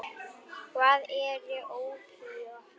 Hvað eru ópíöt?